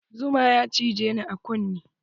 Zuma ya cijeni a kunne.